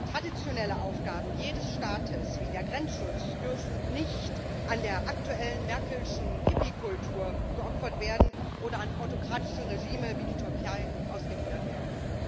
Traditionelle Aufgaben jedes Staates wie der Grenzschutz dürfen nicht der aktuellen Merkel'schen Hippie Kultur geopfert werden oder an autokratische Regime wie die Türkei ausgegliedert werden.